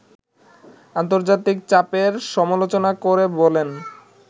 আন্তর্জাতিক চাপের সমালোচনা করে বলেন